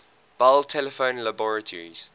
bell telephone laboratories